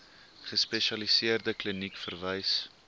gespesialiseerde kliniek verwys